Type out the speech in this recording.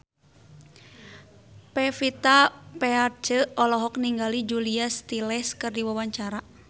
Pevita Pearce olohok ningali Julia Stiles keur diwawancara